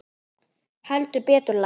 Heldur betur, lagsi